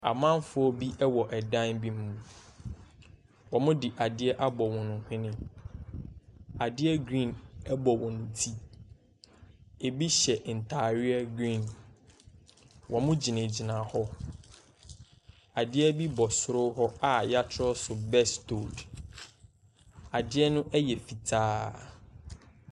Amanfoɔ bi ɛwɔ ɛdan bi mu. Ɔmo de adeɛ abɔ wɔn hwene. Adeɛ griin ɛbɔ wɔn ti. Ebi hyɛ n'atareɛ griin. Ɔmo gyina gyina hɔ. Adeɛ bi bɔ soro hɔ a y'atwerɛ so bɛstold. Adeɛ no yɛ fitaa.